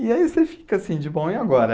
E aí você fica assim, de bom, e agora?